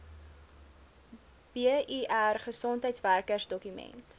bir gesondheidswerkers dokument